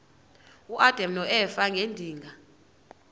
uadam noeva ngedinga